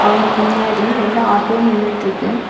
அவனுக்கு முன்னாடி ரெண்டு ஆட்டோ நின்னுட்டுருக்கு.